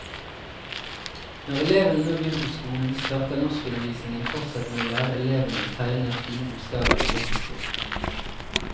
Når elevene nå begynner på skolen, starter norskundervisningen fortsatt med å lære elevene å tegne fine bokstaver i løkkeskrift.